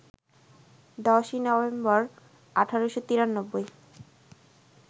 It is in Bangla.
১০ই নভেম্বর, ১৮৯৩